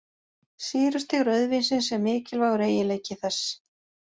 Sýrustig rauðvínsins er mikilvægur eiginleiki þess.